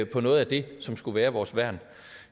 på noget af det som skulle være vores værn